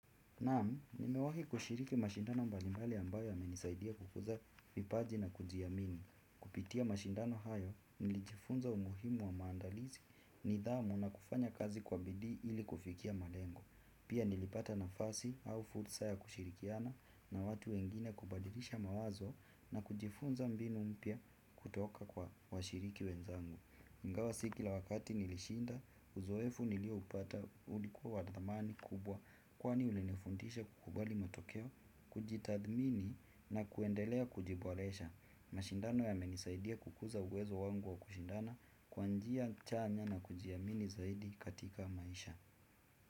Naam, nimewahi kushiriki mashindano mbalimbali ambayo yamenisaidia kukuza vipaji na kujiamini. Kupitia mashindano hayo, nilijifunza umuhimu wa maandalizi nidhamu na kufanya kazi kwa bidii ili kufikia malengo. Pia nilipata nafasi au fursa ya kushirikiana na watu wengine kubadilisha mawazo na kujifunza mbinu mpya kutoka kwa washiriki wenzangu. Ingawa si kila wakati nilishinda, uzoefu nilioupata ulikuwa wa dhamani kubwa kwani ulinifundisha kukubali motokeo, kujitathmini na kuendelea kujiboresha. Mashindano yamenisaidia kukuza uwezo wangu wa kushindana kwa njia chanya na kujiamini zaidi katika maisha.